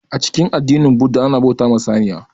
A cikin addinin budda ana bauta wa saniya